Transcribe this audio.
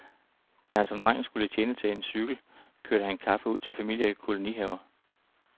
Da han som dreng skulle tjene til en ny cykel, kørte han kaffe ud til familier i kolonihaver.